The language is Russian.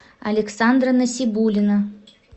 александра насибулина